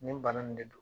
Nin bana nin de don